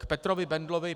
K Petrovi Bendlovi.